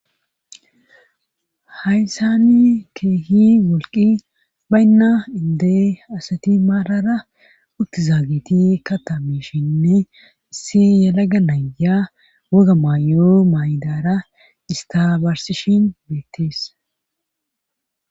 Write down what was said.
Hayssani keehi wolqi baynna indee asati maalara uttizaagiti ka tamishinni isse yalaga nayya waga maayo maydara istabarsishin beettees.